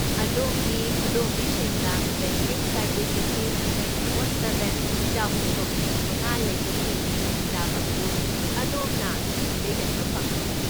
ꯑꯗꯣꯝꯒꯤ ꯈꯨꯗꯣꯝꯕꯤꯁꯤꯡꯗ banking service ꯑꯁꯤ ꯇ꯭ꯋꯦꯟꯇꯤꯐꯣꯔ ꯁꯚꯦꯟ, ꯆꯍꯨꯝꯒ ꯍꯨꯝꯐꯨꯃꯉꯥ ꯂꯩꯕꯒꯤ ꯈꯨꯗꯣꯡꯆꯥꯕ ꯑꯗꯨ ꯑꯗꯣꯝꯅ ꯁꯤꯗꯩ ꯍꯦꯟꯕ ꯐꯪꯂꯣꯏ꯫